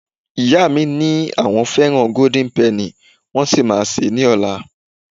ìyá mi ni pe àwọn fẹràn golden penny, wan sí ma se ni ola